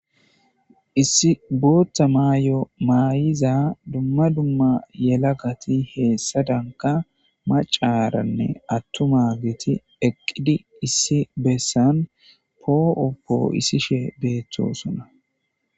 issi bootta maayo maay7iza dumma dumma yela gati heessa danka macaaranne attuma geti eqqidi issi bessan poo7oppoo issishe beettosona